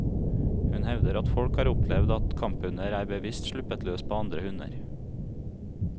Hun hevder at folk har opplevd at kamphunder er bevisst sluppet løs på andre hunder.